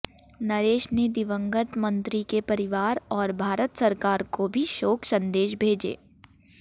नरेश ने दिवंगत मंत्री के परिवार और भारत सरकार को भी शोक संदेश भेजे